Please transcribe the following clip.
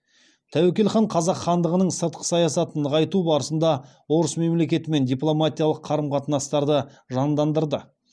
тәуекел хан қазақ хандығының сыртқы саясатын нығайту барысында орыс мемлекетімен дипломатиялық қарым қатынастарды жандандырды